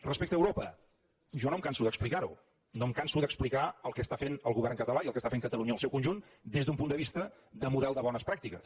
respecte a europa jo no em canso d’explicar ho no em canso d’explicar el que està fent el govern català i el que està fent catalunya en el seu conjunt des d’un punt de vista de model de bones pràctiques